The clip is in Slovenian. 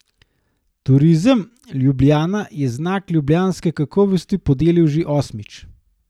Turizem Ljubljana je Znak ljubljanske kakovosti podelil že osmič.